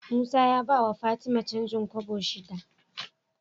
Musa ya bawa fatima canjin kobo shida